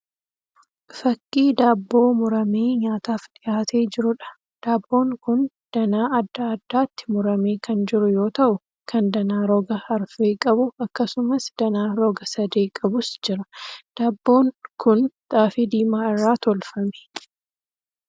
Fakkii daabboo muramee nyaataaf dhiyaatee jiruudha. Daabboon kun danaa adda addaatti muramee kan jiru yoo ta'u kan danaa roga arfee qabu akkasumas danaa roga sadee qabus jira. Daabboo kun xaafii diimaa irraa tolfamee.